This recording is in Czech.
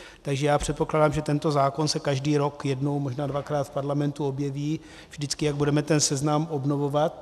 Takže já předpokládám, že tento zákon se každý rok jednou, možná dvakrát v parlamentu objeví, vždycky, jak budeme ten seznam obnovovat.